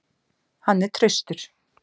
Hann er traustur.